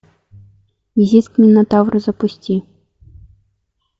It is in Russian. визит к минотавру запусти